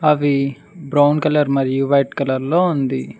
అవి brown colour మరియు white colour లో ఉంది.